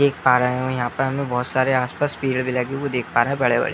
देख पा रहे हैं और यहाँ पे हमें बहुत सारे आस पास पेड़ भी लगे हुए देख पा रहे है बड़े बड़े --